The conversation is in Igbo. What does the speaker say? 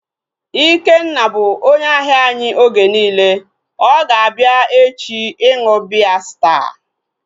Ikenna bụ onye ahia anyị oge niile, ọ ga-abịa echi ịṅụ biya Staa